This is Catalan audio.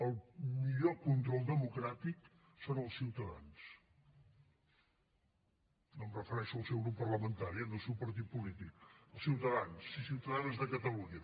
el millor control democràtic són els ciutadans no em refereixo al seu grup parlamentari eh no al seu partit polític els ciutadans i ciutadanes de catalunya